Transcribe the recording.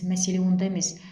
мәселе онда емес